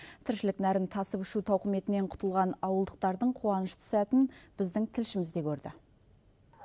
тіршілік нәрін тасып ішу тауқыметінен құтылған ауылдықтардың қуанышты сәтін біздің тілшіміз де көрді